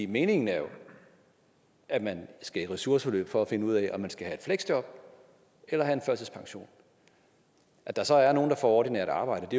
meningen er at man skal i ressourceforløb for at finde ud af om man skal have et fleksjob eller have en førtidspension at der så er nogle der får ordinært arbejde